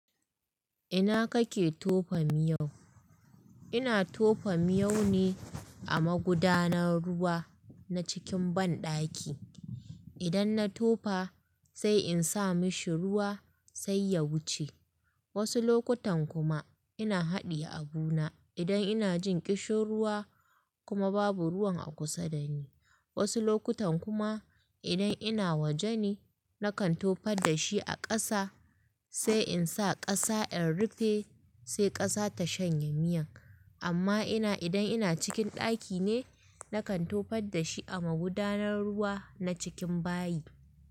Ina kake tofa miyau? Ina tofa miyau ne a magudanar ruwa na cikin banɗaki. Idan na tofa sai in sa mashi ruwa sai ya wuce. Wasu lokutan kuma ina haɗiye abu na idan ina jin ƙishin ruwa kuma babu ruwan a kusa da ni. Wasu lokutan kuma idan ina waje ne na kan tofa da shi a ƙasa sai in sa ƙasa in rufe sai ƙasa ta shanye miyan. Amma ina idan ina cikin ɗaki ne na kan tofa da shi a magudanar ruwa na cikin bayi.